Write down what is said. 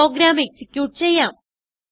programme execute ചെയ്യാം